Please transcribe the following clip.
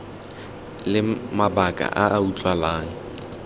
le mabaka a a utlwalang